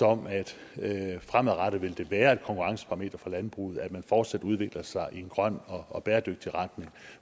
om at fremadrettet vil det være et konkurrenceparameter for landbruget at man fortsat udvikler sig i en grøn og bæredygtig retning